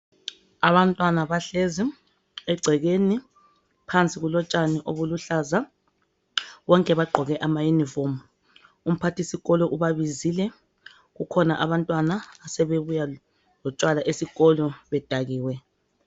Abantwana bahlezi engcekeni, phansi kulotshani obuluhlaza, bonke bagqoke amauniform. Umphathisikolo ubabizile, kukhona abantwana asebebuya lotshwala esikolo bedakiwe.